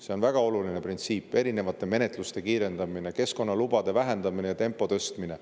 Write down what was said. See on väga oluline printsiip: erinevate menetluste kiirendamine, keskkonnalubade vähendamine ja tempo tõstmine.